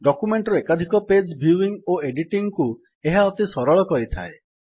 document ର ଏକାଧିକ page viewing ଓ ଏଡିଟିଙ୍ଗ୍ କୁ ଏହା ଅତି ସରଳ କରିଥାଏ